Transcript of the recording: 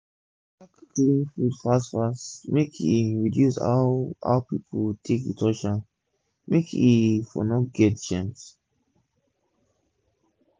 pack clean food fast fast make e reduce how how pipu take dey touch am make e for no get germs